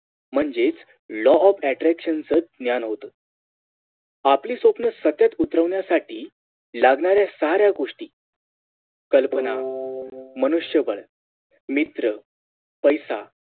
म्हणजेच Law of attraction च ज्ञान होत आपली स्वप्न सत्यात उतरवण्यासाठी लागणाऱ्या साऱ्या गोष्टी कल्पना मनुष्यबळ मित्र पैसा